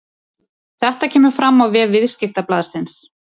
Þetta kemur fram á vef Viðskiptablaðsins